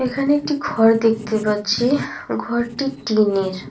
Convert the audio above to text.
এখানে একটি ঘর দেখতে পাচ্ছি ঘরটি টিনের।